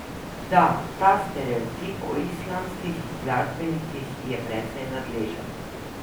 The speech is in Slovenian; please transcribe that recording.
Da, ta stereotip o islandskih glasbenikih je precej nadležen.